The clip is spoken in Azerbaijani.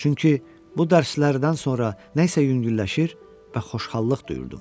Çünki bu dərslərdən sonra nə isə yüngülləşir və xoşxallıq duyurdum.